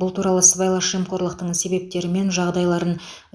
бұл туралы сыбайлас жемқорлықтың себептері мен жағдайларын